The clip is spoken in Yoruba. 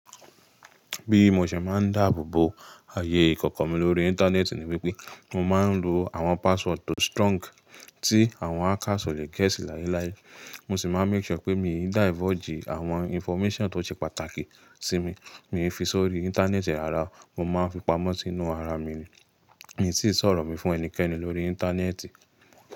Bí mo ṣe máa ń dáàbò bo ààyè ìkọ̀kọ̀ mi lórí Íńtánẹ́ẹ̀tì ni wípé mo máa ń lo àwọn password tó strong tí àwọn hackers ò le gèésì láéláé. Mo sì máa ń make sure pé mi ò dáìvọ̀jì àwọn information tó ṣe pàtàkì sí mi, mi ò fi s'ori íńtánẹ́ẹ̀tì ẹ̀ ara, mo máa ń fi pamọ́ sínú ara mi ni. Mi sì sọ̀rọ̀ mi fún ẹnikẹ́ni lórí íńtánẹ́ẹ̀tì.